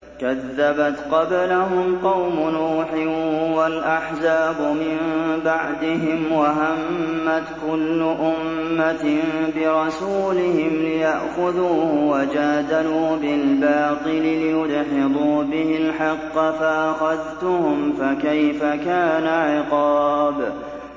كَذَّبَتْ قَبْلَهُمْ قَوْمُ نُوحٍ وَالْأَحْزَابُ مِن بَعْدِهِمْ ۖ وَهَمَّتْ كُلُّ أُمَّةٍ بِرَسُولِهِمْ لِيَأْخُذُوهُ ۖ وَجَادَلُوا بِالْبَاطِلِ لِيُدْحِضُوا بِهِ الْحَقَّ فَأَخَذْتُهُمْ ۖ فَكَيْفَ كَانَ عِقَابِ